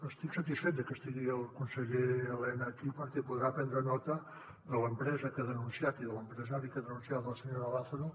estic satisfet de que estigui el conseller elena aquí perquè podrà prendre nota de l’empresa que ha denunciat i de l’empresari que ha denunciat la senyora lázaro